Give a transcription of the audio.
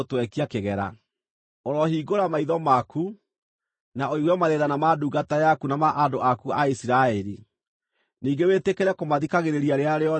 “Ũrohingũra maitho maku na ũigue mathaithana ma ndungata yaku na ma andũ aku a Isiraeli, ningĩ wĩtĩkĩre kũmathikagĩrĩria rĩrĩa rĩothe maagũkaĩra.